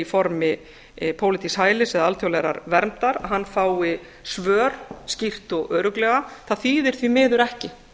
formi pólitísks hælis eða alþjóðlegrar verndar fái svör skýrt og örugglega það þýðir því miður ekki